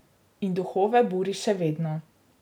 In duhove buri še vedno.